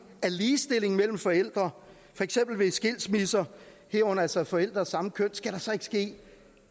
af ligestilling mellem forældre for eksempel ved skilsmisser herunder altså forældre af samme køn skal der så ikke ske